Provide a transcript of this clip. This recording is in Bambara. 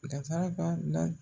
Danfara b'a n da